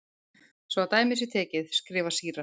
Svo að dæmi sé tekið, skrifar síra